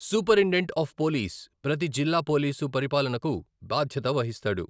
Superintendent of police ప్రతి జిల్లా police పరిపాలనకు బాధ్యత వహిస్తాడు.